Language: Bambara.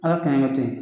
Ala ka n'i kɛ ten